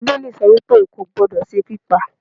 bibelí so wípe, o kọ gbódó se pipá